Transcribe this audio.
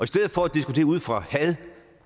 stedet for at diskutere ud fra had og